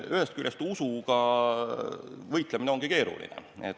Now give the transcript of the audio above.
Eks usuga võitlemine olegi keeruline.